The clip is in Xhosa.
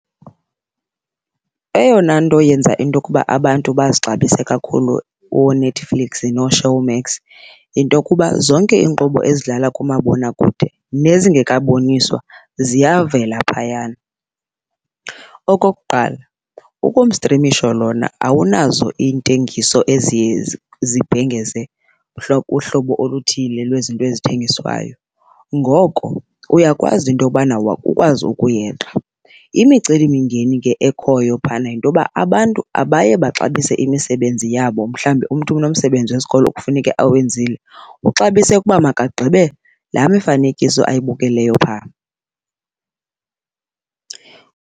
Eyona nto yenza into okuba abantu bazixabise kakhulu ooNetflix nooShowmax yinto okuba zonke iinkqubo ezidlala kumabonakude nezingekaboniswa ziyavela phayana. Okokuqala, ukumstrimisho lona awunazo iintengiso eziye zibhengeze uhlobo oluthile lwezinto ezithengiswayo, ngoko uyakwazi into yobana ukwazi ukuyeqa. Imicelimingeni ke ekhoyo phaya yinto yoba abantu abaye baxabise imisebenzi yabo, mhlawumbi umntu unomsebenzi wesikolo okufuneke awenzile, uxabise ukuba makagqibe laa mifanekiso ayibukeleyo pha.